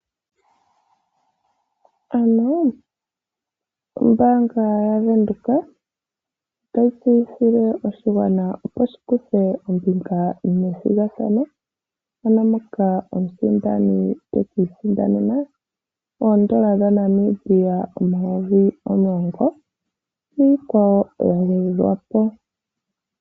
Ombanga yaVenduka ota yi tseyithile oshigwana shi kuthe ombinga methigathano mono omusindani tekiisindanena oondola dhaNamibia omayovi omulongo niikwawo yagwedhwapo.